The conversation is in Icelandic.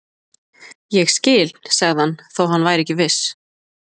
Ég skil sagði hann þótt hann væri ekki viss.